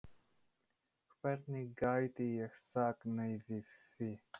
Hvernig gæti ég sagt nei við því?